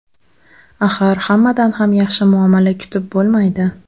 Axir, hammadan ham yaxshi muomala kutib bo‘lmaydi .